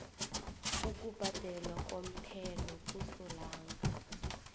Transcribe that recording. ukubhadelwa komthelo kasolanga